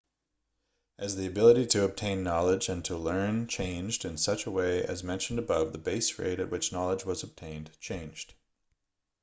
as the ability to obtain knowledge and to learn changed in such a way as mentioned above the base rate at which knowledge was obtained changed